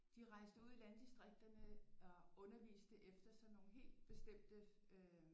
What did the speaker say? De rejste ud i landdistrikterne og underviste efter sådan nogle helt bestemte øh